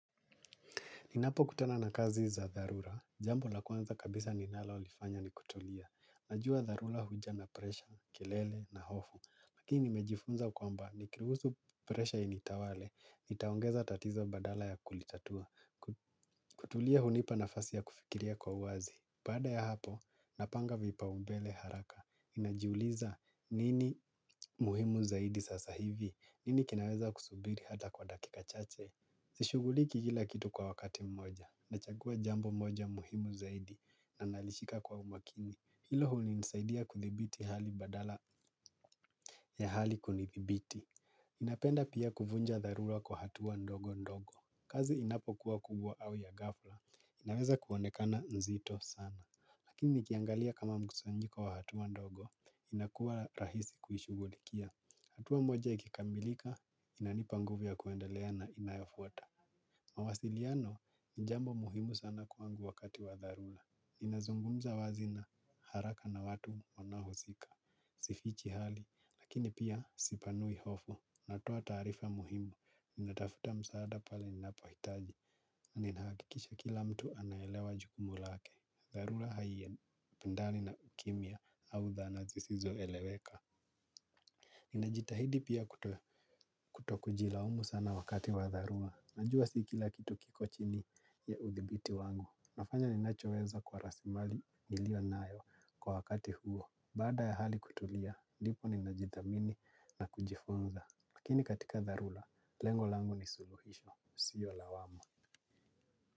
Ninapo kutana na kazi za dharura, jambo la kwanza kabisa ninalo lifanya ni kutulia. Najua dharura huja na presha, kelele na hofu. Lakini mejifunza kwamba, nikiruhusu presha initawale, itaongeza tatizo badala ya kulitatua. Kutulia hunipa nafasi ya kufikiria kwa uazi. Baada ya hapo, napanga vipaubele haraka. Ninajiuliza nini muhimu zaidi sasa hivi, nini kinaweza kusubiri hata kwa dakika chache. Sishuguliki kila kitu kwa wakati mmoja, nachagua jambo moja muhimu zaidi na nalishika kwa umakini. Hilo huli nisaidia kuthibiti hali badala ya hali kunithibiti napenda pia kuvunja dharura kwa hatua ndogo ndogo. Kazi inapo kuwa kubwa au ya ghafla, inaweza kuonekana nzito sana. Lakini nikiangalia kama mkusanyiko wa hatua ndogo, inakuwa rahisi kuishugulikia. Hatua moja ikikamilika, inanipa nguvu ya kuendelea na inayofuata. Mawasiliano ni jambo muhimu sana kwangu wakati wa dharura. Ninazungumza wazi na haraka na watu wanaohusika. Sifichi hali lakini pia sipanui hofu. Natoa taarifa muhimu. Ninatafuta msaada pali ninapo hitaji. Ninahakikisha kila mtu anaelewa jukumu lake. Dharura haie pendali na ukimia. Au dhana zisizo eleweka. Ninajitahidi pia kutokujilaumu sana wakati wa dharura. Najua si kila kitu kiko chini ya udhibiti wangu. Nafanya ninachoweza kwa rasimali niliwa nayo kwa wakati huo. Bada ya hali kutulia, nipo ni najithamini na kujifunza. Lakini katika dharula, lengo langu ni suluhisho. Sio lawama.